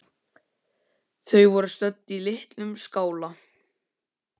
Þau voru stödd í litlum skála.